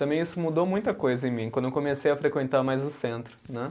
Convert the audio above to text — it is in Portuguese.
Também isso mudou muita coisa em mim, quando eu comecei a frequentar mais o centro, né.